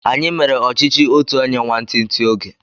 Anyi mere ọchichi otu onye nwantinti oge